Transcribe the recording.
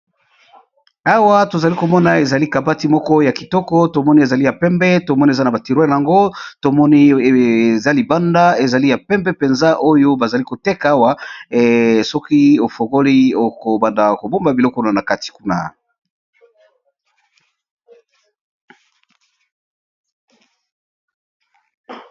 Awa to zali ko mona ezali kabati moko ya kitoko to moni ezali ya pembe, to moni eza na ba tiroires yango to moni eza libanda, ezali ya pembe mpenza, oyo ba zali ko tek'awa, soki o fongoli oko banda ko bomba biloko na kati kuna .